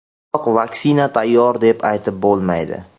Biroq vaksina tayyor deb aytib bo‘lmaydi.